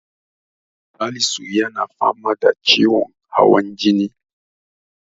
Salisu yana fama da ciwon hawan jini.